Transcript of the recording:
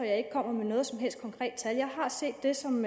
jeg ikke kommer med noget som helst konkret tal jeg har set det som